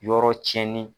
Yɔrɔ tiɲɛnen